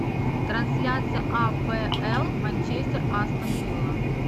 трансляция апл манчестер астон вилла